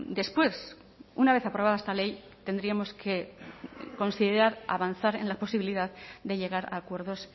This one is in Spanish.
después una vez aprobada esta ley tendríamos que considerar avanzar en la posibilidad de llegar a acuerdos